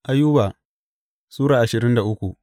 Ayuba Sura ashirin da uku